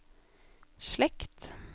slekt